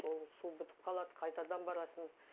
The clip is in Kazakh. ол су бітіп қалады қайтадан барасың